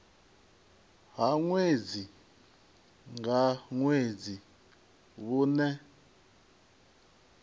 ha ṅwedzi nga ṅwedzi vhune